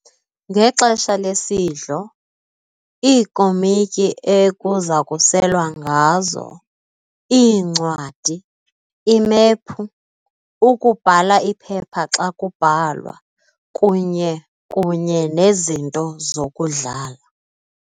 ngexesha lesidlo, iikomotyi ekuzakuselwa ngazo, iincwadi, imephu, ukubhala iphepha xa kubhalwa, kunye kunye nezinto zokudlala.